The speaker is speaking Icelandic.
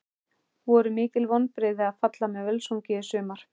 Voru mikil vonbrigði að falla með Völsungi í sumar?